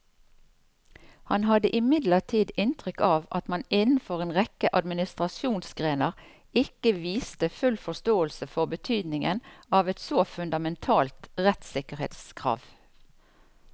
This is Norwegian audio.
Han hadde imidlertid inntrykk av at man innenfor en rekke administrasjonsgrener ikke viste full forståelse for betydningen av et så fundamentalt rettssikkerhetskrav.